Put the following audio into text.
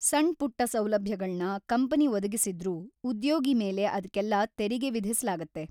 ಸಣ್ಪುಟ್ಟ ಸೌಲಭ್ಯಗಳ್ನ ಕಂಪನಿ ಒದಗಿಸಿದ್ರೂ ಉದ್ಯೋಗಿ ಮೇಲೆ ಅದ್ಕೆಲ್ಲ ತೆರಿಗೆ ವಿಧಿಸ್ಲಾಗತ್ತೆ.